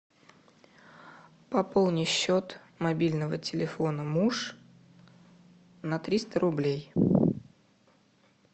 пополни счет мобильного телефона муж на триста рублей